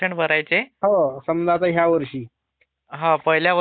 हा पहिल्या वर्षाला हा दहा पर्सेंट भरायचे.